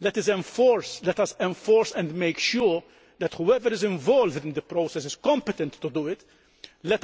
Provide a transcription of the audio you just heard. let us enforce and make sure that whoever is involved in the process is competent to do so